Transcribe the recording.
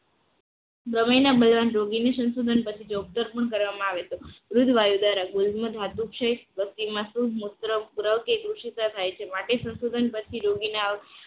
પ્રમેયના બળવાન રોગીને સંશોધન પછી જે ઉત્તર પણ કરવામાં આવે છે દૂધ વાયુ દ્વારા ગોલમ ધાતુ ક્ષય હસ્તીમાં શુભ મુત્ર કે દૂષિત થાય છે માટે સંશોધન પછી રોગીને